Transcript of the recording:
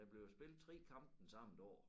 Der blev jo spillet 3 kampe den samme dag